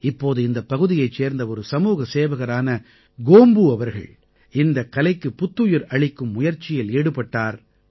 இப்போது இந்தப் பகுதியைச் சேர்ந்த ஒரு சமூகசேவகரான கோம்பூ அவர்கள் இந்தக் கலைக்குப் புத்துயிர் அளிக்கும் முயற்சியில் ஈடுபட்டார்